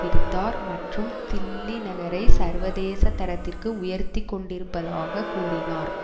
விடுத்தார் மற்றும் தில்லி நகரை சர்வதேச தரத்திற்கு உயர்த்தி கொண்டிருப்பதாக கூறினார்